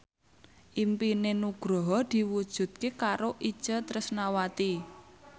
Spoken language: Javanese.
impine Nugroho diwujudke karo Itje Tresnawati